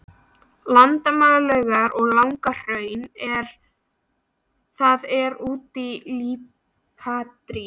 Landmannalaugar og Laugahraun, en það er úr líparíti.